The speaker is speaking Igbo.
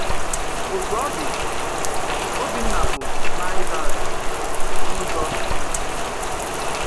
Òtú ọ̀ dị̀, Ọ́bìnnà bụ̀ Nazíraị̀tì n’ụ́zọ̀ dị̀ íché.